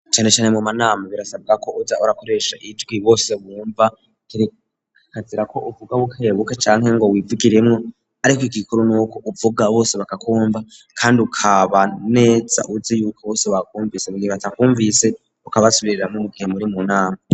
Cane cane mu manama birasabwa ko uja urakoreshra ijwi bose bumva bikazira ko uvuga bukebukeb canke ngo wivugiremwo ariko igikuru n'uko uvuga bose bakakumva kandi ukabanetsa uzi yuko bose baakumvise bibatsa kumvise ukabasubiriramwo mugihe muri mu nama.